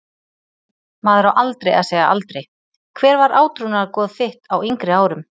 Maður á aldrei að segja aldrei Hver var átrúnaðargoð þitt á yngri árum?